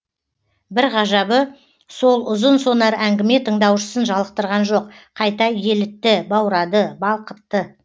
бір ғажабы сол ұзын сонар әңгіме тыңдаушысын жалықтырған жоқ қайта елітті баурады балқытты